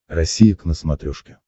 россия к на смотрешке